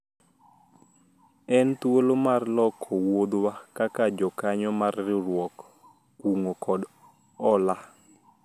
en thuolo mar loko wuodhwa kaka jokanyo mar riwruog kungo kod hola